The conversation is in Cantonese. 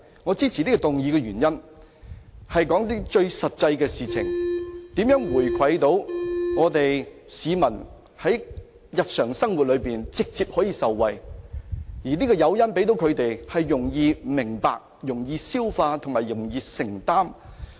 我支持這項議案的原因，是要提出一些最實際的建議，指出如何回饋市民，讓他們在日常生活中可直接受惠，而向他們提供的誘因，是他們容易明白、容易消化和容易承擔的。